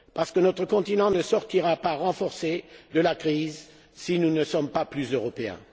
Parce que notre continent ne sortira pas renforcé de la crise si nous ne sommes pas plus européens.